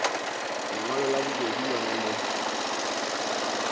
lengwalo la bobedi lona le